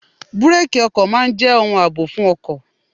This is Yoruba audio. Búrákì ọkọ̀ máa ń jẹ́ ohun àbò fún ọkọ̀.